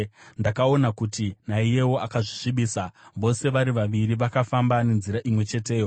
Ndakaona kuti naiyewo akazvisvibisa; vose vari vaviri vakafamba nenzira imwe cheteyo.